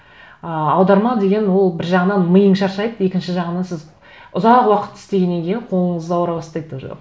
ыыы аударма деген ол бір жағынан миың шаршайды екінші жағынан сіз ұзақ уақыт істегеннен кейін қолыңыз ауыра бастайды тоже